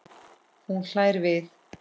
Hún hlær við.